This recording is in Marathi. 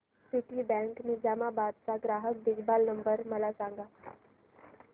सिटीबँक निझामाबाद चा ग्राहक देखभाल नंबर मला सांगा